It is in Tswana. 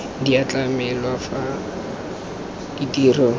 di a tlamelwa fa ditiro